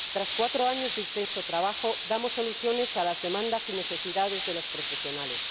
Tras cuatro años de intenso trabajo, damos soluciones a las demandas y necesidades de los profesionales.